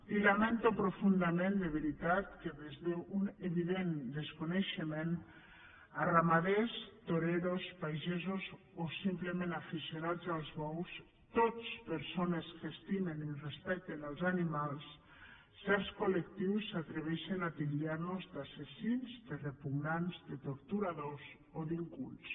i lamento profundament de veritat que des d’un evident desconeixement a ramaders toreros pagesos o simplement aficionats als bous tots persones que estimen i respecten els animals certs col·lectius s’atreveixen a titllar nos d’assassins de repugnants de torturadors o d’incultes